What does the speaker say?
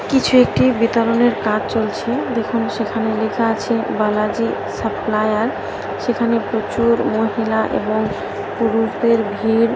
কিছু একটি বিতরণের কাজ চলছে দেখুন সেখানে লেখা আছে বালাজি সাপ্লাইয়ার সেখানে প্রচুর মহিলা এবং পুরুষদের ভিড়--